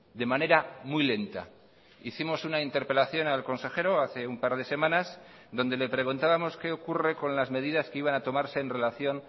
de manera muy lenta hicimos una interpelación al consejero hace un par de semanas donde le preguntábamos qué ocurre con las medidas que iban a tomarse en relación